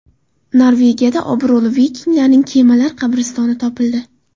Norvegiyada obro‘li vikinglarning kemalar qabristoni topildi .